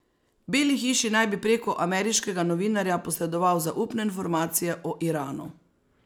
Beli hiši naj bi preko ameriškega novinarja posredoval zaupne informacije o Iranu.